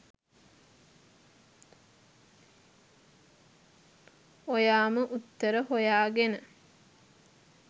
ඔයාම උත්තර හොයාගෙන